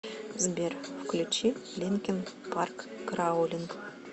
сбер включи линкин парк краулинг